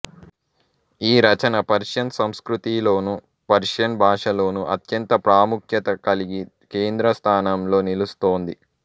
ఈ రచన పర్షియన్ సంస్కృతిలోనూ పర్షియన్ భాషలోనూ అత్యంత ప్రాముఖ్యత కలిగి కేంద్ర స్థానంలో నిలుస్తోంది